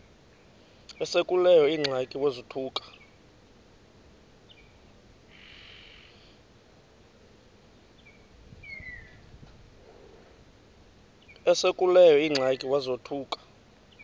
esekuleyo ingxaki wazothuka